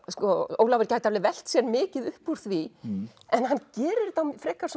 Ólafur gæti alveg velt sér mikið upp úr því en hann gerir þetta á frekar